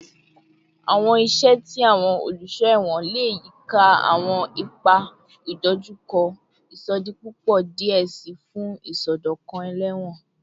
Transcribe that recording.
Awọn iṣẹ ti awọn oluṣọ ẹwọn le yika awọn ipa idojukọ isodipupo diẹ sii fun isọdọkan ẹlẹwọn